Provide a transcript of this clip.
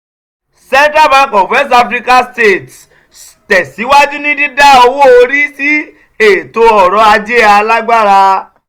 central bank of west african states tẹ̀síwájú ní dídá owó orí sí ètò ọ̀rọ̀ ajé alágbára